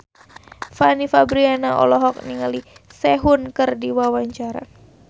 Fanny Fabriana olohok ningali Sehun keur diwawancara